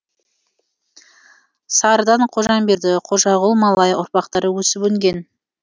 сарыдан қожамберді қожағұл малай ұрпақтары өсіп өнген